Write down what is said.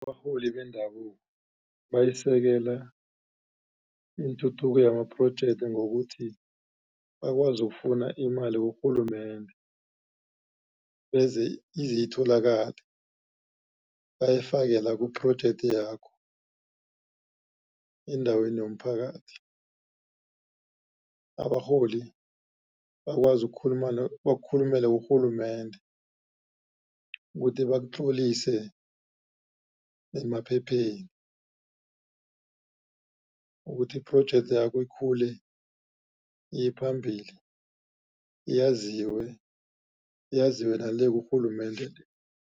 Abarholi bendabuko bayisekela ituthuko yama-project, ngokuthi bakwazi ukufuna imali kurhulumende izitholakale, bayifake la ku-project yakho endaweni yomphakathi. Abarholi bakwazi bakukhulumele kurhulumende, ukuthi bakutlolise nemaphepheni ukuthi i-project yakho ikhule iye phambili, yaziwe, yaziwe na le kurhulumende le.